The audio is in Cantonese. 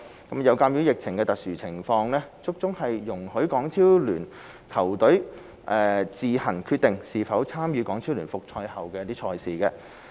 有鑒於疫情的特殊情況，足總容許港超聯球隊自行決定是否參與港超聯復賽後的賽事。